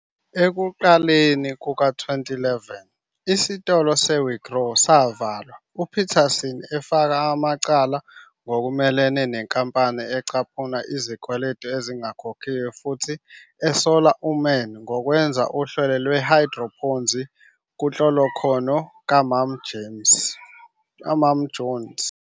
Ekuqaleni kuka-2011, isitolo se-weGrow savalwa, uPeterson efaka amacala ngokumelene nenkampani ecaphuna izikweletu ezingakhokhiwe futhi esola uMann ngokwenza "uhlelo lwe-hydroponzi" kunhlolokhono "kaMama Jones.